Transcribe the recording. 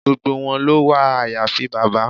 Gbogbo wọn ló wà àyàfi bàbá.